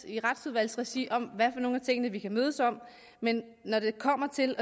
i retsudvalgsregi om hvad for nogle af tingene vi kan mødes om men når det kommer til